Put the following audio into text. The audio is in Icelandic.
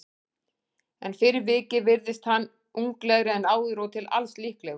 En fyrir vikið virðist hann unglegri en áður og til alls líklegur.